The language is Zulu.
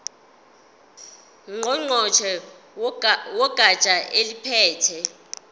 ngqongqoshe wegatsha eliphethe